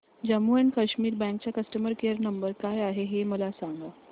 Jammu and Kashmir bank चा customer care number काय आहे हे मला सांगा